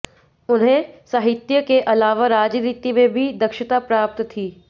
उन्हें साहित्य के अलावा राजनीति में भी दक्षता प्राप्त थी